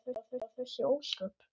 Hún minnir á þessi ósköp.